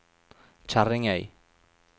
Kjerringøy